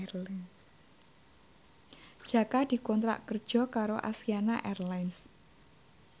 Jaka dikontrak kerja karo Asiana Airlines